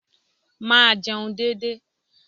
Máa jẹun dédé.